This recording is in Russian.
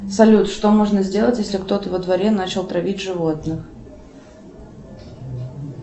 салют что можно сделать если кто то во дворе начал травить животных